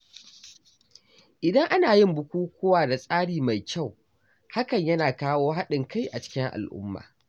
Idan ana yin bukukkuwa da tsari mai kyau, hakan yana kawo haɗin kai a cikin al’umma.